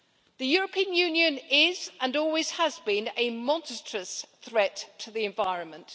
The European Union is, and always has been, a monstrous threat to the environment.